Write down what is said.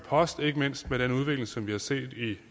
post ikke mindst med den udvikling som vi har set i